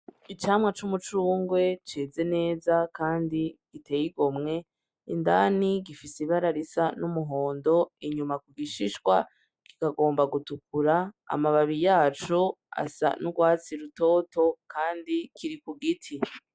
Icamwa c'umucungwe ceze neza kandi giteye igomwe. Indani gifise ibara risa n'umuhondo, inyuma ku gishishwa kikagomba gutukura, amababi yaco asa n'urwatsi rutoto kandi kiri ku giti.